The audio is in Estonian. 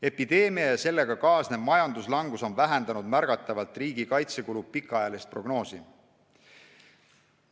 Epideemia ja sellega kaasnenud majanduslangus on vähendanud märgatavalt riigi kaitsekulu pikaajalist prognoosi.